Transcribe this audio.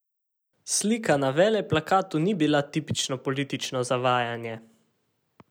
Slika na veleplakatu ni bila tipično politično zavajanje.